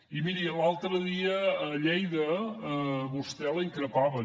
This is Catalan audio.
i miri l’altre dia a lleida a vostè la increpaven